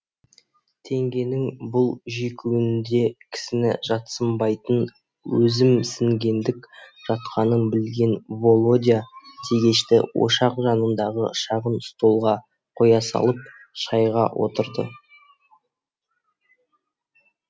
теңгенің бұл жекуінде кісіні жатсынбайтын өзімсінгендік жатқанын білген володя тегешті ошақ жанындағы шағын столға қоя салып шайға отырды